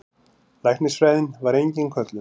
Læknisfræðin var engin köllun.